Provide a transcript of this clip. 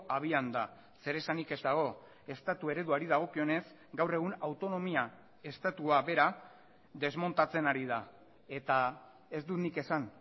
abian da zeresanik ez dago estatu ereduari dagokionez gaur egun autonomia estatua bera desmontatzen ari da eta ez dut nik esan